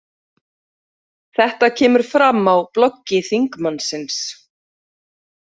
Þetta kemur fram á bloggi þingmannsins